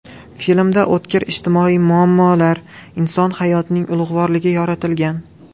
Filmda o‘tkir ijtimoiy muammolar, inson hayotining ulug‘vorligi yoritilgan.